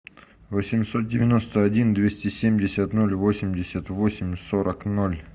восемьсот девяносто один двести семьдесят ноль восемьдесят восемь сорок ноль